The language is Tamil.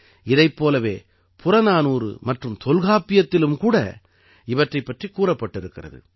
இதைப் போலவே புறநானூறு மற்றும் தொல்காப்பியத்திலும் கூட இவற்றைப் பற்றி கூறப்பட்டிருக்கிறது